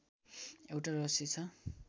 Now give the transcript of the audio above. एउटा रहस्य छ